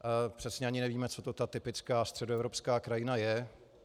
Přesně ani nevíme, co to ta typická středoevropská krajina je.